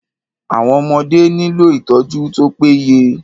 Àwọn ọmọdé nílò ìtọ́jú tó pé yẹ.